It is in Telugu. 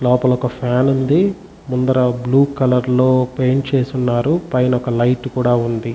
లోపల ఒక ఫ్యాన్ ఉంది. ముందర బ్లూ కలర్ లో పెయింట్ చేసి ఉన్నారు. పైన ఒక లైట్ కూడా ఉంది.